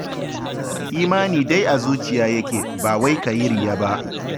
Imani dai a zuciya yake, ba wai ka yi riya ba